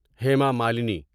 Hema Malini